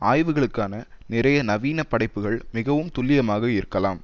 ஆய்வுகளுக்கான நிறைய நவீன படைப்புகள் மிகவும் துல்லியமாக இருக்கலாம்